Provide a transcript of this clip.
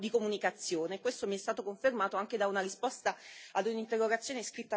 Questo mi è stato confermato anche da una risposta ad un'interrogazione scritta alla Commissione europea.